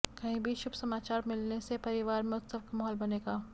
कहीं से शुभसमाचार मिलगे से परिवार में उत्सव का माहौल बनेगा